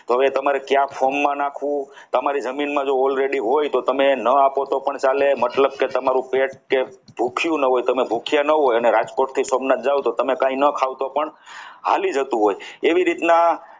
તો હવે એ તમારી કયા form માં નાખવું તમારી જમીનમાં જો already હોય તો તમે ન આપો તો પણ ચાલે એનો મતલબ કે તમારું પેટ કે ભૂખ્યું ન હોય ભૂખ્યા ન હોય અને રાજકોટ થી સોમનાથ ના જાઓ અને કંઈ ન ખાવ તો પણ હાલી જતું હોય છે એવી રીતના